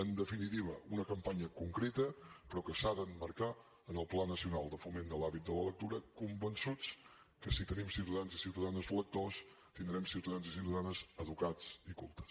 en definitiva una campanya concreta però que s’ha d’emmarcar en el pla nacional de foment de l’hàbit de la lectura convençuts que si tenim ciutadans i ciutadanes lectors tindrem ciutadans i ciutadanes educats i cultes